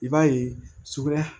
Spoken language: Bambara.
I b'a ye sugunɛ